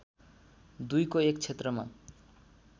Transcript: २को एक क्षेत्रमा